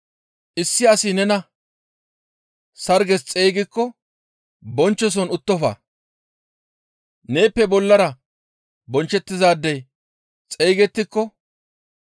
«Issi asi nena sarges xeygikko bonchchoson uttofa; neeppe bollara bonchchettizaadey xeygettiko,